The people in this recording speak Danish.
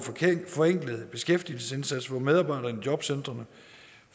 forenklet beskæftigelsesindsats hvor medarbejderne i jobcentrene